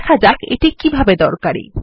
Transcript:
দেখা যাক এটি কিভাবে দরকারী